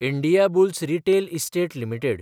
Indiabulls real estate limited